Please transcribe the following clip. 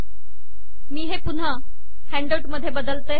मी हे पुन्हा हॅन्डआऊट मधे बदलते